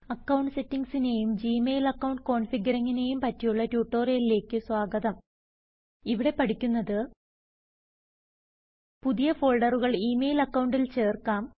account സെറ്റിങ്ങ്സിനെയും Gmail account കോൻഫിഗരിങ്ങിനെയും പറ്റിയുള്ള ട്യൂട്ടോറിയലിലേക്ക് സ്വാഗതം ഇവിടെ പഠിക്കുന്നത്160 പുതിയ ഫോൾഡറുകൾ ഇ മെയിൽ അക്കൌണ്ടിൽ ചേർക്കാം